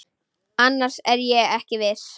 Annars er ég ekki viss.